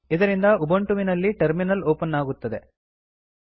ಇದರಿಂದ ಉಬಂಟುವಿನಲ್ಲಿ terminal open ಆಗುತ್ತದೆ